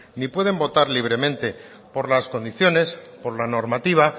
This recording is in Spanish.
ni pueden votar libremente por las condiciones por la normativa